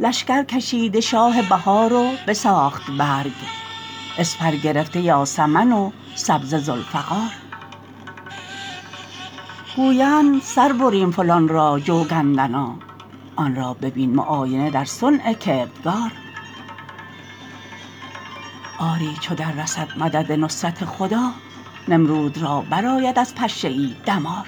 لشکر کشیده شاه بهار و بساخت برگ اسپر گرفته یاسمن و سبزه ذوالفقار گویند سر بریم فلان را چو گندنا آن را ببین معاینه در صنع کردگار آری چو دررسد مدد نصرت خدا نمرود را برآید از پشه ای دمار